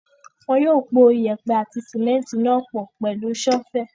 Wọn yóò po yèèpẹ̀ àti símẹ́ńtì náà pọ̀ pẹ̀lú ṣọ́fẹ̀.